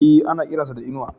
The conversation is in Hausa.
E, ana kiran sa da Inuwa.